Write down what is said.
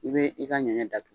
I bɛ i ka ɲɛnɛ da tugu.